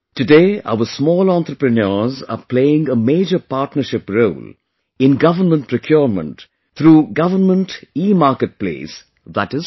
Today our small entrepreneurs are playing a major partnership role in government procurement through Government eMarket place i